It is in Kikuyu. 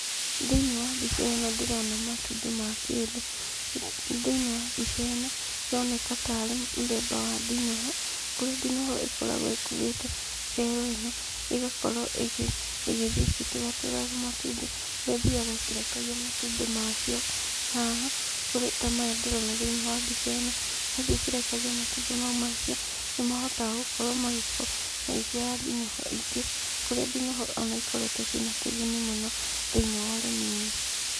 Thĩiniĩ wa mbica ĩno ndĩrona matumbĩ ma kĩndũ. Thĩiniĩ wa mbica ĩno, ĩroneka ta arĩ mũthemba wa ndinoho, kũrĩa ndinoho ĩkoragwo ĩkuĩte cero ĩno ĩgakorwo ĩgĩthiĩ ĩgĩtũratũraga matumbĩ, kũrĩa ĩthiyaga ĩkĩrekagia matumbĩ macio haha, ta maya ndĩrona thĩiniĩ wa mbica ĩno. Yathiĩ ĩkĩrekagia matumbĩ macio mayo nĩmakoragwo magĩciara ndinoho ingĩ, kũrĩa ndinoho ona cikoretwo ciĩna kĩguni mũno thĩiniĩ wa ũrĩmi-inĩ.